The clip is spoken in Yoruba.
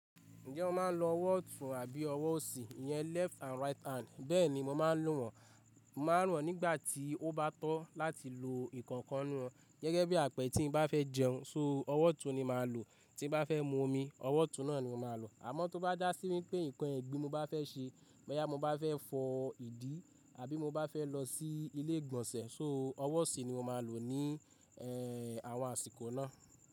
Ǹjẹ́ o máa ń lo ọwọ́ ọ̀tún àbí ọwọ́ òsì? Ìyẹn left and right hand. Bẹ́ẹ̀ni mo máa ń lò wọ́n. Màá ràán nígbà tí ó bá tọ́ láti lo ìkankan nínú wọn. Gẹ́gẹ́ bí àpẹẹrẹ tí n bá fẹ́ jẹun, so ọwọ́ ọ̀tún ni maa lò. Tí n bá fẹ́ mu omi, ọwọ́ ọ̀tún náà ni mo máa lò. Àmọ́ tó bá jà sí wípé nǹkan ẹ̀gbin ni mo bá fẹ́ ṣe, bóyá mo bá fẹ́ fọ ìdí àbí mo bá fẹ́ lọ sí ilé ìgbọ̀nsẹ̀, so ọwọ́ òsì ni mo máa lò ní ẹ́h, àwọn àsìkò náà.